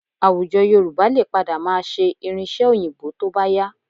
Àwùjọ Yorùbá lè padà máa ṣe irin-iṣẹ́ Òyìnbó tó bá yá